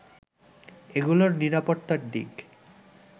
এগুলোর নিরাপত্তার দিক